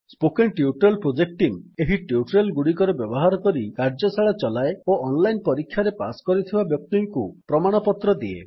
spoken tutorial project team ଏହି tutorial ଗୁଡିକର ବ୍ୟବହାର କରି କାର୍ଯ୍ୟଶାଳା ଚଲାଏ ଓ ଅନଲାଇନ୍ ପରୀକ୍ଷାରେ ପାସ୍ କରିଥିବା ବ୍ୟକ୍ତିଙ୍କୁ ପ୍ରମାଣପତ୍ର ଦିଏ